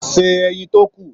Se ẹyin tó kù.